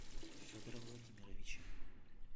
федора владимировича